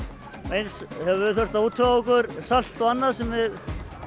eins höfum við þurft að útvega okkur salt og annað sem við